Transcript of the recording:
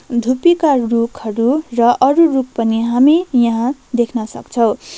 धुप्पीका रूखहरू र अरू रूख पनि हामी यहाँ देख्न सक्छौं।